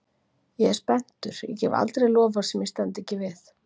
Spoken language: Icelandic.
Ég er spenntur, ég gef aldrei loforð sem ég stend ekki við.